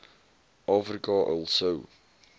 afrika al sou